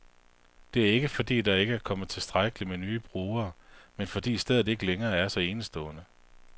Det er ikke, fordi der ikke kommer tilstrækkeligt med nye brugere, men fordi stedet ikke længere er så enestående.